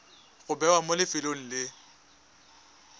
go bewa mo lefelong le